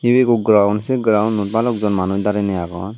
ebi ekku ground sey grounnut balok jon manuj dareney agon.